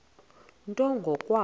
nto ngo kwabo